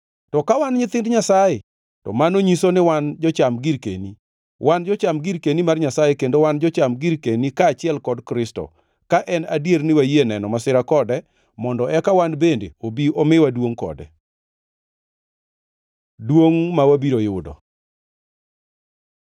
To ka wan nyithind Nyasaye, to mano nyiso ni wan jocham girkeni. Wan jocham girkeni mar Nyasaye kendo wan jocham girkeni kaachiel kod Kristo, ka en adier ni wayie neno masira kode mondo eka wan bende obi omiwa duongʼ kode. Duongʼ ma wabiro yudo